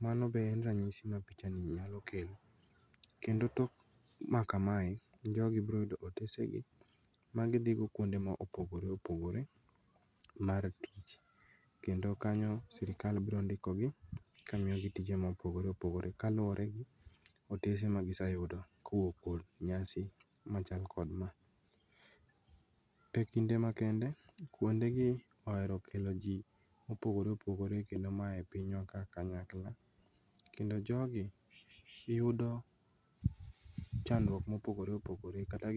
Mano be en ranyisi ma pichani nyalo kelo kendo tok makamae jogi broyudo otesegi ma gidhigo kuonde maopogore opogore mar tich kendo kanyo sirkal brondikogi kamiogi tije mopogore opogore kaluore gi otese ma giseyudo kowuok kod nyasi machal kod maa.E kinde ma kende, kuondegi oero kelo jii mopogore opogore kendo mayae pinywa ka kanyakla kendo jogi giyudo chandruok mopogore opogore kata gi.